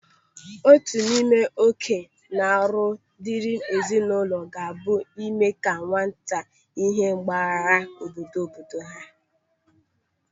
Otu n'ime ókè na ọrụ diri ezinụlọ ga-abụ ime ka nwata ihe abgara obodo obodo ha.